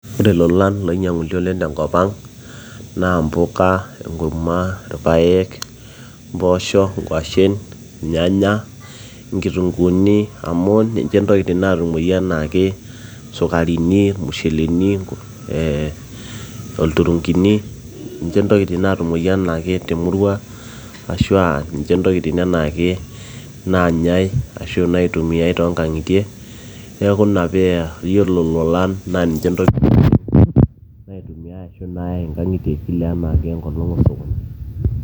ore ilolan loinyiang'uni oleng tenkop ang naa mpuka, enkurma, irpayek, mpoosho inkuashen irnyanya inkitunguuni amu ninche ntokitin natumoyu enaake sukarini irmusheleni ee olturungini ninche ntokitin naatumoyu enaake temurua ashua ninche ntokitin enaake naanyai ashu naitumiay toonkang'itie neeku ina peya yiolo ilolan naa ninche ntokitin naitumiay ashu nayai inkang'itie kila enaake enkolong osokoni.